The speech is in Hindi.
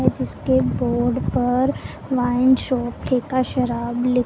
जिसके बोर्ड पर वाइन शॉप ठेका शराब लि--